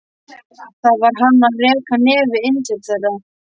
Hvað var hann að reka nefið inn til þeirra?